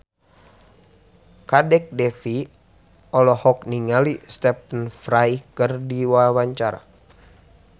Kadek Devi olohok ningali Stephen Fry keur diwawancara